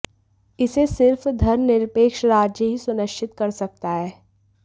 इसे सिर्फ धर्मनिरपेक्ष राज्य ही सुनिश्चित कर सकता है